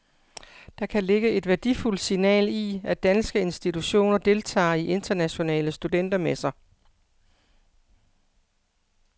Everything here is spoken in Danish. Der kan ligge et værdifuldt signal i, at danske institutioner deltager i internationale studentermesser.